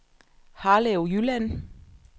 Harlev Jylland